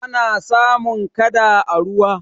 ana samun kada a ruwa